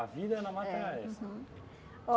A vida na mata era essa? Uhum